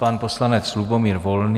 Pan poslanec Lubomír Volný.